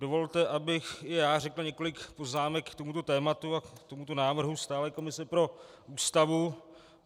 Dovolte, abych i já řekl několik poznámek k tomuto tématu a k tomuto návrhu stálé komise pro Ústavu.